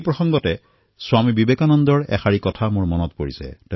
এই উপলক্ষে মোৰ স্বামী বিবেকানন্দৰ এয়াৰ বচন মনলৈ আহিছে